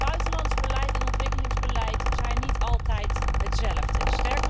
Buitenlands beleid en ontwikkelingsbeleid zijn niet altijd hetzelfde.